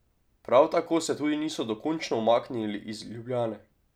Prav tako se tudi niso dokončno umaknili iz Ljubljane.